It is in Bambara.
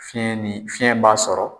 Fiɲɛ ni fiɲɛ b'a sɔrɔ